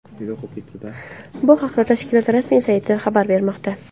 Bu haqda tashkilot rasmiy sayti xabar bermoqda .